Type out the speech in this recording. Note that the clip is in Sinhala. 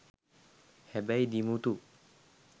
හැබැයි දිමුතු